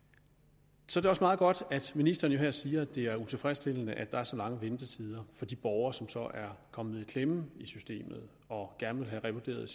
så er det også meget godt at ministeren her siger at det er utilfredsstillende at der er så lange ventetider for de borgere som så er kommet i klemme i systemet og gerne vil have revurderet